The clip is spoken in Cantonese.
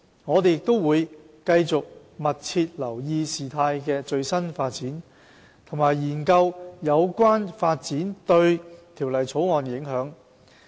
我們會繼續密切留意事態的最新發展，並研究有關發展對《條例草案》的影響。